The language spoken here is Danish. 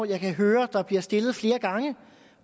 jeg kan høre bliver stillet flere gange